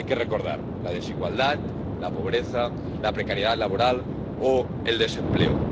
Hay que recordar la desigualdad, la pobreza, la precariedad laboral o el desempleo.